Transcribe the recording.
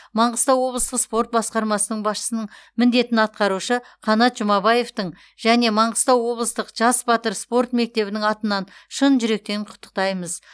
маңғыстау облыстық спорт басқармасының басшысының міндетін атқарушы қанат жұмабаевтың және маңғыстау облыстық жас батыр спорт мектебінің атынан шын жүректен құттықтаймыз